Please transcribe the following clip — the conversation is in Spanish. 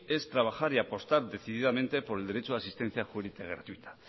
es trabajar y apostar decididamente por el derecho de asistencia jurídica gratuita